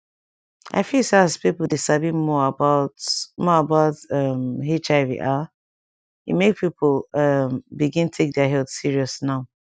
i feel say as people dey sabi more about more about um hiv ah e make people um begin take their health serious now